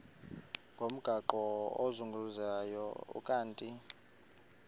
ngomgaqo ozungulezayo ukanti